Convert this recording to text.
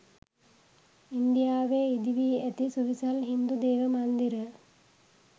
ඉන්දියාවේ ඉදිවී ඇති සුවිසල් හින්දු දේවමන්දිර